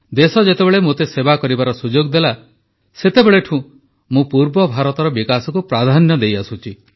ଦେଶ ଯେତେବେଳେ ମୋତେ ସେବା କରିବାର ସୁଯୋଗ ଦେଲା ସେତେବେଳଠୁ ମୁଁ ପୂର୍ବ ଭାରତର ବିକାଶକୁ ପ୍ରାଧାନ୍ୟ ଦେଇଆସୁଛି